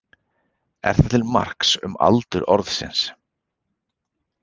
Er það til marks um aldur orðsins.